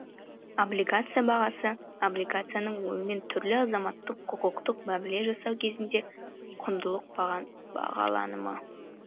облигация бағасы облигацияның онымен түрлі азаматтық құқықтық мәміле жасау кезінде құндық бағаланымы